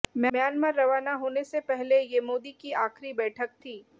Myanmar रवाना होने से पहले ये ये मोदी की आखिरी बैठक थी